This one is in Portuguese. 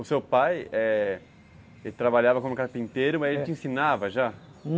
O seu pai, eh, ele trabalhava como carpinteiro, mas ele te ensinava já?